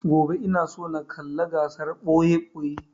Gobe ina so na kalla gasar ɓoye-ɓoye